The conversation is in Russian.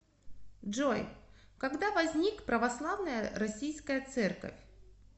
джой когда возник православная российская церковь